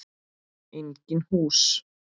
Engin hús.